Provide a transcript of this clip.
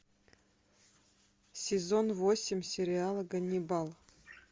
сезон восемь сериала ганнибал